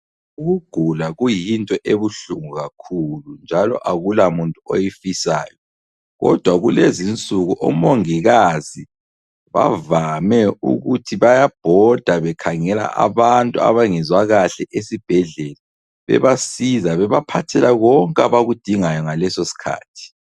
Ukugula kuyinto ebuhlungu kakhulu njalo akulamuntu oyifisayo kodwa kulezinsuku omongikazi bavame ukuthi bayabhoda bekhangela abantu abangezwa kahle esibhedlela bebasiza bebaphathela konke abakudingayo ngaleso sikhathi.